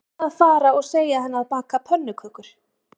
Ég ætla að fara og segja henni að baka pönnukökur